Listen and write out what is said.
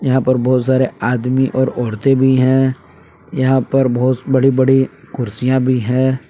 यहां पर बहुत सारे आदमी और औरतें भी हैं यहां पर बहुत बड़ी बड़ी कुर्सियां भी हैं।